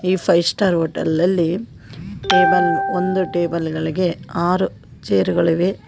ಈ five star hotel ಅಲ್ಲಿ table ಒಂದು ಟೇಬಲ್ ಗಳಿಗೆ ಆರು ಚೇರ್ ಗಳಿವೆ.